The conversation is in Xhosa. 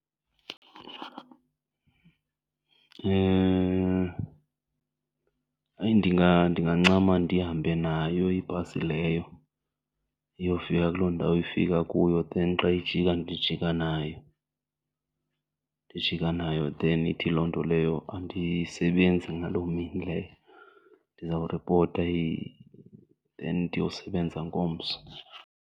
Hayi ndingancama ndihambe nayo ibhasi leyo iyofika kuloo ndawo ifika kuyo then xa ijika ndijika nayo, ndijika nayo. Then ithi loo nto leyo andisebenzi ngaloo mini leyo, ndizawuripota then ndiyosebenza ngomso.